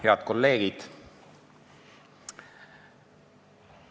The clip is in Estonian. Head kolleegid!